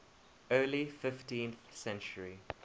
early fifteenth century